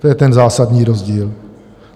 To je ten zásadní rozdíl.